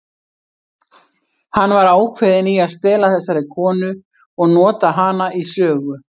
Hann var ákveðinn í að stela þessari konu og nota hana í sögu.